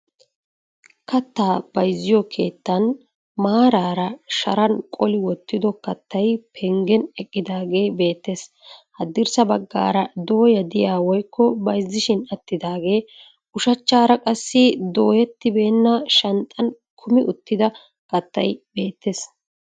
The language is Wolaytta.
Kattaa bayzziyo keettan maaraara sharan qoli wottido kattay penggen eqqaagee beettes. Haddirssa baggaara dooya diya woykko bayzzishin attaggee, ushachchaara qassi dooyettibeenna shanxxan kumi uttida kattay beettes.